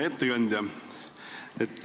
Hea ettekandja!